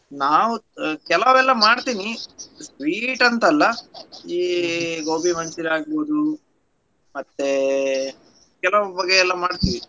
ನಾವ್ ಕೆಲವ್ ಎಲ್ಲ ಮಾಡ್ತೀನಿ sweet ಅಂತ ಅಲ್ಲಾ ಈ gobi manchuri~ ಆಗ್ಬೋದು ಮತ್ತೇ ಕೆಲವು ಬಗೆ ಎಲ್ಲಾ ಮಾಡ್ತೀವಿ.